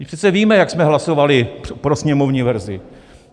Vždyť přece víme, jak jsme hlasovali pro sněmovní verzi.